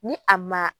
Ni a ma